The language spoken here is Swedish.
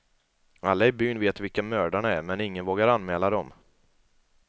Alla i byn vet vilka mördarna är, men ingen vågar anmäla dem.